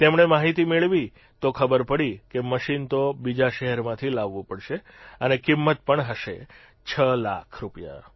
તેમણે માહિતી મેળવી તો ખબર પડી કે મશીન તો બીજા શહેરમાંથી લાવવું પડશે અને કિંમત પણ હશે છ લાખ રૂપિયા